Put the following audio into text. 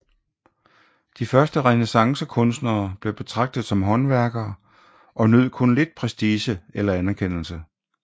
De første renæssancekunstnere blev betragtet som håndværkere og nød kun lidt prestige eller anerkendelse